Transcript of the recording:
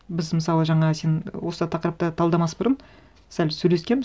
біз мысалы жаңа сен осы тақырыпты талдамас бұрын сәл сөйлескенбіз